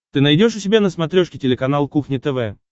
ты найдешь у себя на смотрешке телеканал кухня тв